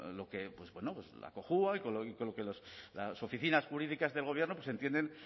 lo que pues bueno pues la cojua y con lo que las oficinas jurídicas del gobierno pues entienden